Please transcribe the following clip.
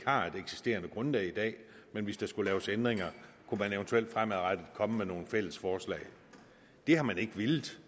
har et eksisterende grundlag men hvis der skal laves ændringer kunne de eventuelt fremadrettet komme med nogle fælles forslag det har man ikke villet